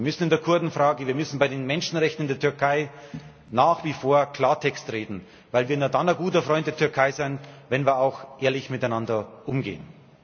Wir müssen in der Kurdenfrage, wir müssen bei den Menschenrechten in der Türkei nach wie vor Klartext reden, weil wir nur dann ein guter Freund der Türkei sind, wenn wir auch ehrlich miteinander umgehen.